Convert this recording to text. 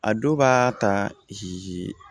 A dɔw b'a ta